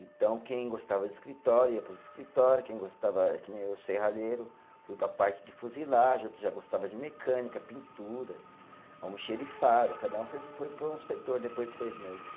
Então quem gostava de escritório ia para os escritório, quem gostava, que nem eu, serralheiro, fui para a parte de fuselagem, outros já gostava de mecânica, pintura, almoxarifado, cada um foi foi para um setor depois de seis meses.